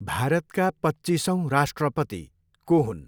भारतका पच्चिसौँ राष्ट्रपति को हुन्?